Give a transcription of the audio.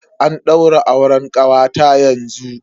Ana daura auren kawata yanzu.